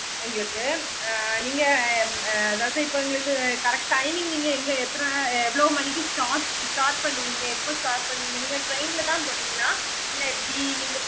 நீங்க அதாவது இப்போ எங்களுக்கு correct timing நீங்க எத்தன எவ்ளோ start start பண்ணுவீங்க எப்போ start பண்ணுவீங்க நீங்க train ல தா போறீங்களா இல்ல எப்படி நீங்க